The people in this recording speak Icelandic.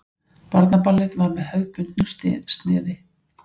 Barnaballið var með hefðbundnu sniði.